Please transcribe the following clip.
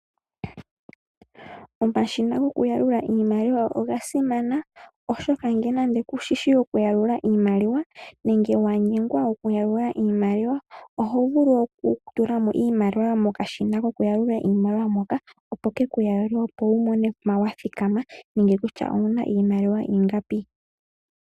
Omashina gokuyalula iimaliwa ogasimana oshoka ngele nande kushishi okuyalula iimaliwa nenge wanyengwa okuyalula oho vulu okutula iimaliwa mokashina kokuyalula imaliwa moka opo kekuyalulile opo wu tale kusha ouna iimaliwa yathikama peni.